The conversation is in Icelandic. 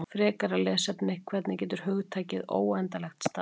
Frekara lesefni: Hvernig getur hugtakið óendanlegt staðist?